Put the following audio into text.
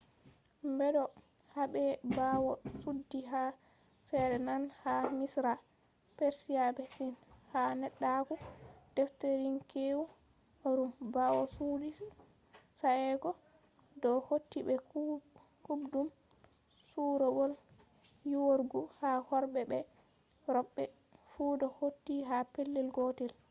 bedo habe bawo chudi ha sa'è nane ha misra persia be sin. ha neddaku-defterinkweewu ruum bawo chudi sa'e go do hauti be kuubdum soorowol yiiworgu ha worbe be robe fu do hauti ha pellel gotel